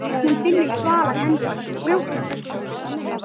Hún finnur þvalar hendur hans á brjóstunum.